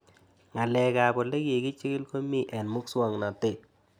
Ng'alek ab ole kikichig'il ko mii eng' muswog'natet